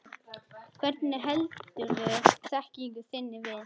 Hvernig heldurðu þekkingu þinni við?